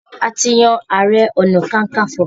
A ti yan ààrẹ-ọ̀nà-kakanfò.